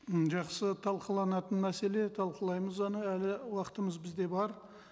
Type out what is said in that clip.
м жақсы талқыланатын мәселе талқылаймыз оны әлі уақытымыз бізде бар